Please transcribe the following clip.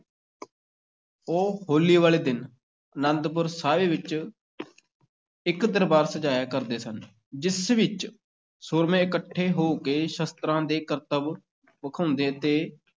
ਉਹ ਹੋਲੀ ਵਾਲੇ ਦਿਨ ਅਨੰਦਪੁਰ ਸਾਹਿਬ ਵਿੱਚ ਇੱਕ ਦਰਬਾਰ ਸਜਾਇਆ ਕਰਦੇ ਸਨ, ਜਿਸ ਵਿੱਚ ਸੂਰਮੇ ਇਕੱਠੇ ਹੋ ਕੇ ਸ਼ਸਤਰਾਂ ਦੇ ਕਰਤੱਬ ਵਿਖਾਉਂਦੇ ਅਤੇ